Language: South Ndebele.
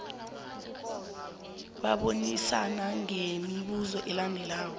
babonisane ngemibuzo elandelako